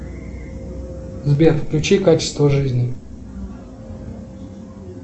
сбер включи качество жизни